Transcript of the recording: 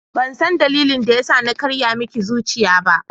Bansan dalilin da yasa na karya miki zuciya ba.